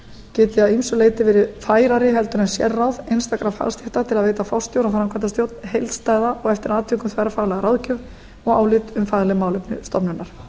geti að ýmsu leyti verið færari en sérráð einstakra fagstétta til að veita forstjóra og framkvæmdastjórn heildstæða og eftir atvikum þverfaglega ráðgjöf og álit um fagleg málefni stofnunar